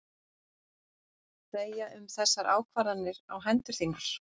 Segja um þessar ákvarðanir á hendur þínar?